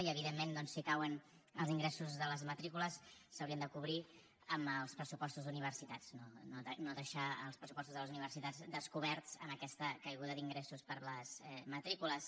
i evidentment doncs si cauen els ingressos de les matrícules s’haurien de cobrir amb els pressupostos d’universitats no deixar els pressupostos de les universitats descoberts amb aquesta caiguda d’ingressos per les matrícules